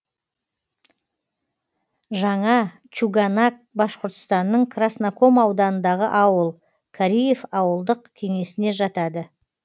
жаңа чуганак башқұртстанның красноком ауданындағы ауыл кариев ауылдық кеңесіне жатады